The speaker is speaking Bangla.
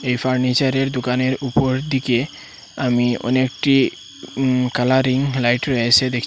এই ফার্নিচারের দুকানের উপর দিকে আমি অনেকটি উম কালারিং লাইট রয়েসে দেকচি ।